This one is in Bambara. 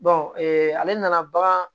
ale nana bagan